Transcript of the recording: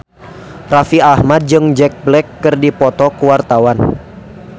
Raffi Ahmad jeung Jack Black keur dipoto ku wartawan